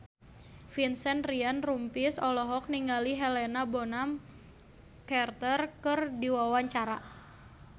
Vincent Ryan Rompies olohok ningali Helena Bonham Carter keur diwawancara